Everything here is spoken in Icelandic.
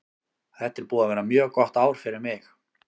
Þetta er búið að vera mjög gott ár fyrir mig.